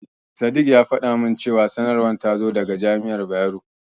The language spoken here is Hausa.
Sadik ya faɗa min cewa sanarwar ta zo daga Jami'ar Bayero.